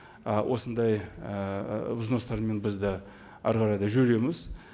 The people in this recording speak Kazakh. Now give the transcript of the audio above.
ы осындай ыыы взностармен біз де әрі қарай да жүреміз